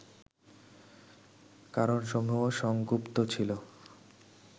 কারণসমূহ সংগুপ্ত ছিল